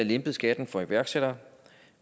lempet skatten for iværksættere